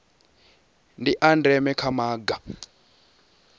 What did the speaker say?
ndi a ndeme kha maga